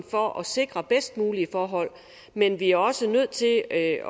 for at sikre bedst mulige forhold men vi er også nødt til at at